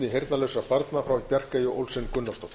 heyrnarlausra barna frá bjarkeyju olsen gunnarsdóttur